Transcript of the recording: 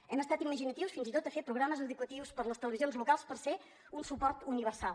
hem estat imaginatius fins i tot a fer programes educatius per a les televisions locals per ser un suport universal